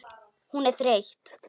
Hún er þreytt.